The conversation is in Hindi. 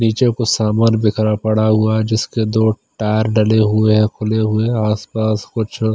नीचे कुछ सामान बिखरा पड़ा हुआ है जिसके दो टायर डाले हुए हैं खुले हुए है आस पास कुछ--